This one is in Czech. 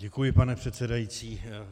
Děkuji, pane předsedající.